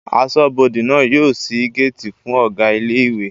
Aṣọ́bọdè náà yóò ṣí géètì fún Ọ̀gá ilé ìwé